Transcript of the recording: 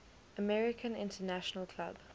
american international club